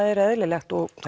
er eðlilegt og